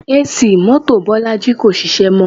AC mọ́tò Bolaji kò ṣiṣẹ́ mọ́